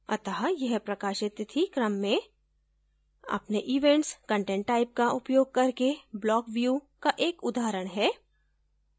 अत: यह प्रकाशित तिथि क्रम में अपने events content type का उपयोग करके block view का एक उदाहरण है